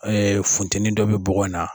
Ee funtɛni dɔ bi bɔgɔ in na.